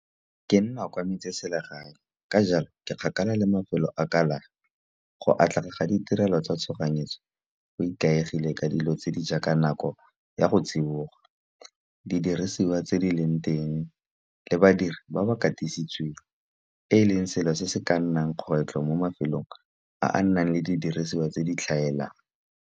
Ke nna kwa metseselegae ka jalo ke kgakala le mafelo a kalafi. Go atlega ga ditirelo tsa tshoganyetso go ikaegile ka dilo tse di jaaka nako ya go tsiboga. Didiriswa tse di leng teng le badiri ba ba katisitsweng, e leng selo se se ka nnang kgwetlho mo mafelong a a nang le didiriswa tse di tlhaelang.